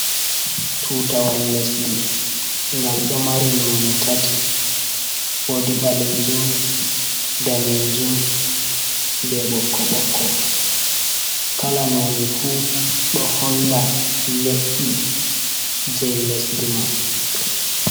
Tutawal lesdi, ngal ɗo mari noone tati ,woodi ɓaleejum, daneejum, be ɓokko ɓokko ,kala noone fu, ɗo holla le’i jey lesdi man.